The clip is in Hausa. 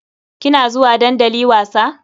Kina zuwa dandali wasa?